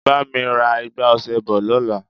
Bá mi ra igbá ọṣẹ bọ̀ lọ́la.